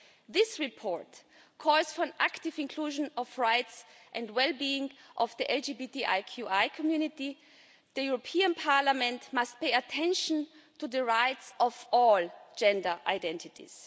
This report calls for an active inclusion of the rights and the well-being of the LGBTQI community. The European Parliament must pay attention to the rights of all gender identities.